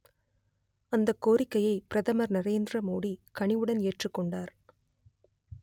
அந்த கோரிக்கையை பிரதமர் நரேந்திர மோடி கனிவுடன் ஏற்றுக்கொண்டார்